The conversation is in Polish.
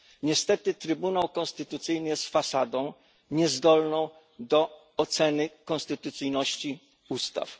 Niestety Trybunał Konstytucyjny jest fasadą niezdolną do oceny konstytucyjności ustaw.